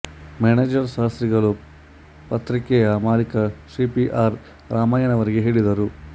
manager ಶಾಸ್ತ್ರಿಗಳು ಪತ್ರಿಕೆಯ ಮಾಲೀಕ ಶ್ರೀ ಪಿ ಆರ್ ರಾಮಯ್ಯನವರಿಗೆ ಹೇಳಿದರು